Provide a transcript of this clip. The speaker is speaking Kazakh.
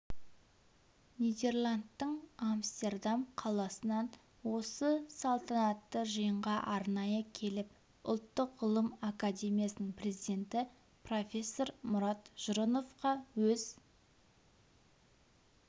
нидерландтың амстердам қаласынан осы салтанатты жиынға арнайы келіп ұлттық ғылым академиясының президенті профессор мұрат жұрыновқа өз